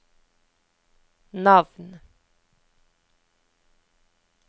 navn